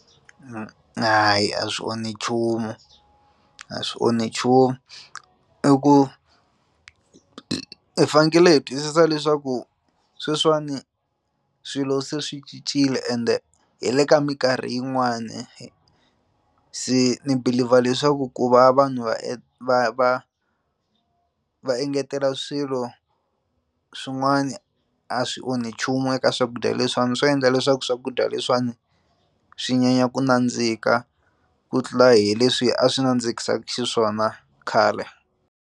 Hayi a swi onhi nchumu a swi onhi nchumu i ku hi fanekele hi twisisa leswaku sweswiwani swilo se swi cincile ende hi le ka mikarhi yin'wani hi se ni believer leswaku ku va vanhu va va va va engetela swilo swin'wani a swi onhi nchumu eka swakudya leswiwani swi endla leswaku swakudya leswiwani swi nyanya ku nandzika ku tlula hi leswi a swi nandzikisaku xiswona khale.